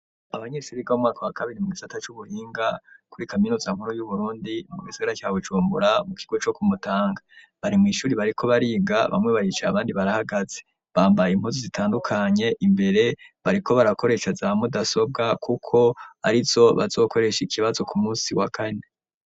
Abanyeshure biga mu mwaka wa kabiri, mu gisata c'ubuhinga kuri kaminuza nkuru y'Uburundi, mu gisagara ca Bujumbura, mu kigo co ku Mutanga, bari mw'ishure bariko bariga, bamwe baricaye, abandi barahagaze. Bambaye impuzu zitandukanye, imbere bariko barakoresha za mudasobwa kuko arizo bazokoresha ikibazo ku musi wa kane.